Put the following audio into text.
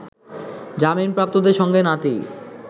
জামিনপ্রাপ্তদের সঙ্গে নাতি